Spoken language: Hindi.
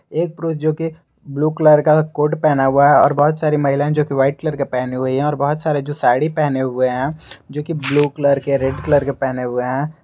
एक प्रो जोकि ब्लू कलर का कोट पहना हुआ है और बहुत सारी महिलाएं जो की वाइट कलर के पहने हुए हैं और बहोत सारे जो साड़ी पहने हुए हैं जोकि ब्लू कलर के रेड कलर के पहने हुए हैं।